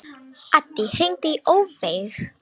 Addý, hringdu í Ófeig.